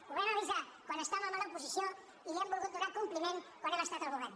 ho vam avi·sar quan estàvem a l’oposició i li hem volgut donar com·pliment quan hem estat al govern